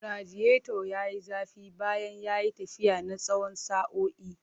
Radiator ya yi zafi bayan ya yi tafiya na tsawon sa'o'i.